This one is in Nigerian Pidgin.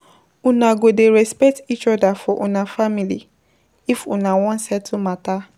Una go dey respect each oda for una family if una wan settle mata.